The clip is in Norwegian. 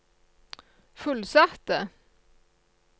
fullsatte